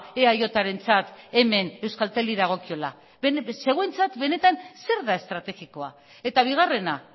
eajrentzat hemen euskalteli dagokiola zeuentzat benetan zer da estrategikoa eta bigarrena